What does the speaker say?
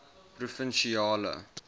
provinsiale